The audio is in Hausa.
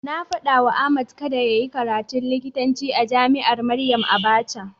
Na faɗawa Ahmad kada yayi karatun likitanci a jami'ar Maryam Abacha.